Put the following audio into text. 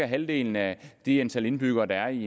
halvdelen af det antal indbyggere der er i